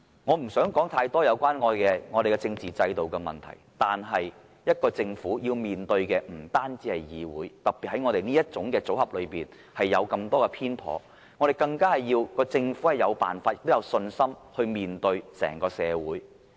我不想說太多有關香港政治制度的問題，但政府面對的不單是議會，特別是在立法會這種組合裏，有這麼多偏頗的情況，政府更需要有辦法、有信心面對整個社會。